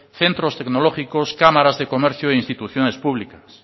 centros tecnológicos cámaras de comercio e instituciones públicas